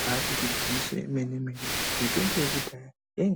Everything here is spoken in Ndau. Ibaari gwinyiso remene mene mitombo yekudhaya yai